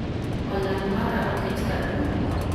Olang' mara oket karang'o